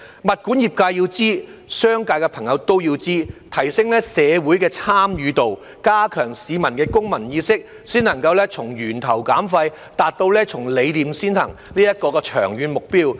物管業界要知道，商界的朋友都要知道，要提升社會的參與度，加強市民的公民意識，這樣才能從源頭減廢，達到從理念先行這個長遠目標。